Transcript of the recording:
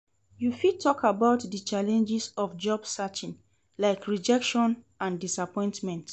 You fit talk about di challenges of job searching, like rejection and disappointment.